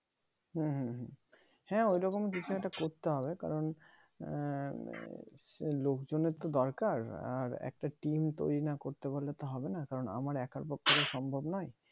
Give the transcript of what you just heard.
হুম হুম হুম হ্যাঁ ঐরকম ওরকম কিছু একটা করতে হবে কারণ আহ লোক জনের দরকার আর একটা team তৈরি না করতে পারলে তো হবে না কারণ একার পক্ষে তো সম্ভব নয়